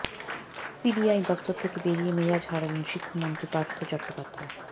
CBI দফতর থেকে বেরিয়ে মেজাজ হারালেন শিক্ষামন্ত্রী পার্থ চট্টোপাধ্যায়